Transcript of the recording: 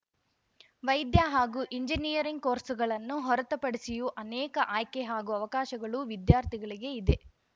ವೈದ್ಯ ಹಾಗೂ ಎಂಜಿನಿಯರಿಂಗ್‌ ಕೋರ್ಸ್‌ಗಳನ್ನು ಹೊರತುಪಡಿಸಿಯೂ ಅನೇಕ ಆಯ್ಕೆ ಹಾಗೂ ಅವಕಾಶಗಳು ವಿದ್ಯಾರ್ಥಿಗಳಿಗೆ ಇದೆ